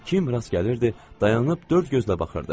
Kim rast gəlirdi, dayanıb dörd gözlə baxırdı.